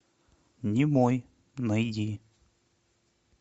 немой найди